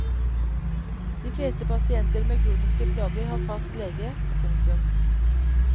De fleste pasienter med kroniske plager har fast lege. punktum